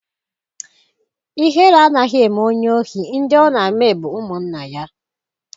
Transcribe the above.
Ihere anaghị eme onye ohi; ndị ọ na-eme bụ ụmụnna ya